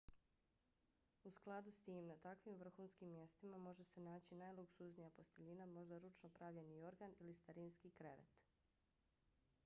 u skladu s tim na takvim vrhunskim mjestima može se naći najluksuznija posteljina možda ručno pravljeni jorgan ili starinski krevet